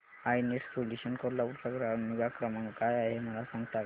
I Net Solutions Kolhapur चा ग्राहक निगा क्रमांक काय आहे मला सांगता का